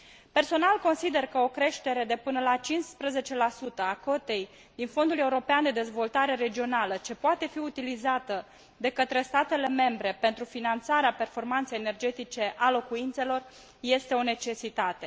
Personal, consider că o creștere de până la 15 a cotei din Fondul European de Dezvoltare Regională ce poate fi utilizată de către statele membre pentru finanțarea performanței energetice a locuințelor este o necesitate.